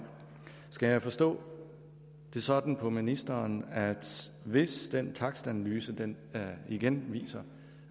skal jeg forstå det sådan på ministeren at hvis den takstanalyse igen igen viser